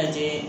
A di